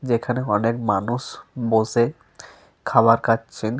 যেখানে অনেক মানুষ বসে খাবার খাচ্ছেন।